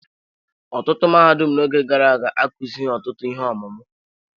Ọtụtụ mahadum n'oge gara aga akụzighi ọtụtụ ihe ọmụmụ.